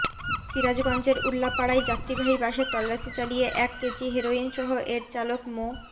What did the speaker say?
সিরাজগঞ্জের উল্লাপাড়ায় যাত্রীবাহী বাসে তল্লাশি চালিয়ে এক কেজি হেরোইনসহ এর চালক মো